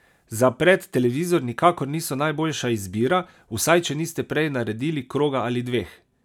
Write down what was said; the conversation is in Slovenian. Za pred televizor nikakor niso najboljša izbira, vsaj če niste prej naredili kroga ali dveh!